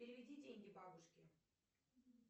переведи деньги бабушке